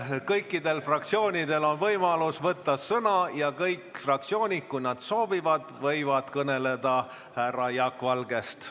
Jah, kõikidel fraktsioonidel on võimalus võtta sõna ja kõik fraktsioonid, kui nad seda soovivad, võivad kõnelda ka härra Jaak Valgest.